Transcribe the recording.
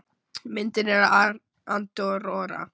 Myndin er af Andorra.